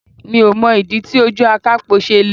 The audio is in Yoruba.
Mi ò mọ̀ ìdí tí ojú akapo ṣe le.